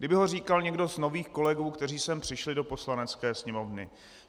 Kdyby ho říkal někdo z nových kolegů, kteří sem přišli do Poslanecké sněmovny.